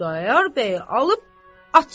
Xudayar bəy alıb açsın.